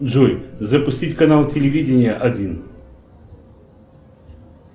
джой запустить канал телевидения один